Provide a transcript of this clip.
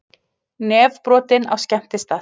Nefbrotinn á skemmtistað